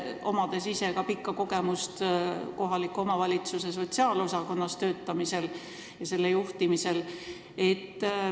On sul ju rikkalikud kogemused kohaliku omavalitsuse sotsiaalosakonnas töötamisest ja selle juhtimisest.